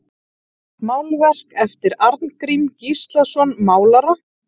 Málverk eftir Arngrím Gíslason málara